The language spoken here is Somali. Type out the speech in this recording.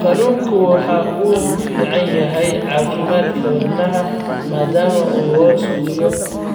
Kalluunku waxa uu u fiican yahay caafimaadka wadnaha maadaama uu hoos u dhigo